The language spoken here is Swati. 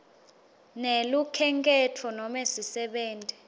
nelukhenkhetfo nobe sisebenti